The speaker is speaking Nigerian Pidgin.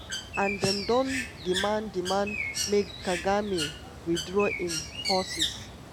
and dem don demand demand make kagame withdraw im forces.